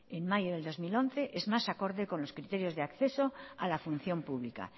en mayo de dos mil once es más acorde con los criterios de acceso a la función pública